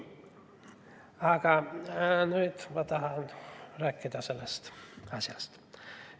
Nüüd ma tahan rääkida asjast.